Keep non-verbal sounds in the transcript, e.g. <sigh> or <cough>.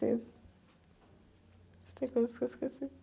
<unintelligible> acho que tem coisas que eu esqueci.